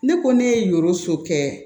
Ne ko ne ye yɔrɔso kɛ